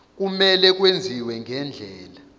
kumele kwenziwe ngendlela